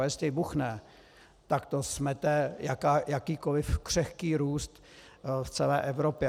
A jestli vybuchne, tak to smete jakýkoli křehký růst v celé Evropě.